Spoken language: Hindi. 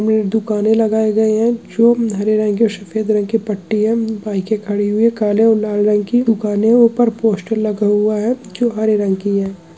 में दुकानें लगाए गए है जो नीले रंग की और सफेद रंग की पट्टी है बाइकें खड़ी हुई है काले और लाल रंग की दुकानें ऊपर पोस्टर लगा हुआ है जो हरे रंग की है।